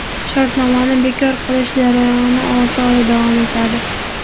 Shartnomani bekor qilish jarayoni olti oy davom etadi.